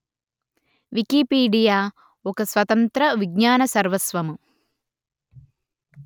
Wikipedia ఒక స్వతంత్ర విజ్ఞాన సర్వస్వము